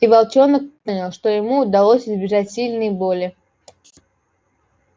и волчонок понял что ему удалось избежать сильной боли